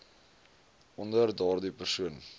onder daardie persoon